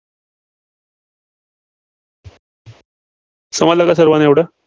समजला का सर्वांना एवढं?